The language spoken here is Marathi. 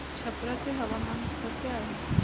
छप्रा चे हवामान कसे आहे